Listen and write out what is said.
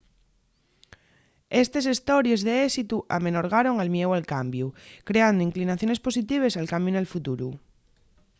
estes hestories d’éxitu amenorgaron el mieu al cambiu creando inclinaciones positives al cambiu nel futuru